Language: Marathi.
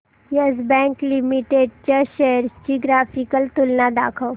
येस बँक लिमिटेड च्या शेअर्स ची ग्राफिकल तुलना दाखव